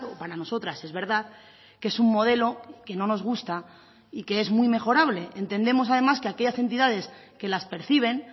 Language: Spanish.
para nosotras es verdad que es un modelo que no nos gusta y que es muy mejorable entendemos además que aquellas entidades que las perciben